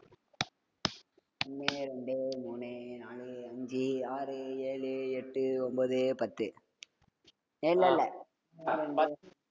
ஒண்ணு, ரெண்டு, மூணு, நாலு, அஞ்சு, ஆறு, ஏழு, எட்டு, ஒன்பது, பத்து. ஏய் இல்ல இல்லை